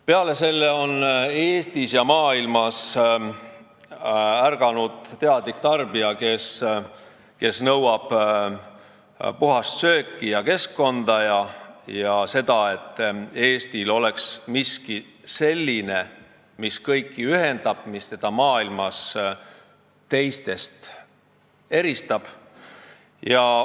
Peale selle on ka Eestis ärganud teadlikud tarbijad, kes nõuavad puhast sööki ja keskkonda ning seda, et Eestil oleks miski, mis kõiki ühendab ja mis teda maailmas teistest eristab.